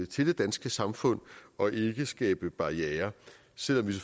til det danske samfund og ikke skabe barrierer selv om vi